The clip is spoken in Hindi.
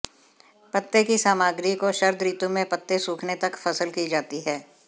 पत्ते की सामग्री को शरद ऋतु में पत्ते सूखने तक फसल की जाती है